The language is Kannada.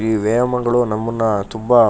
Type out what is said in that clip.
ಈ ವ್ಯಯಮಗಳು ನಮ್ಮನ್ನ ತುಂಬಾ --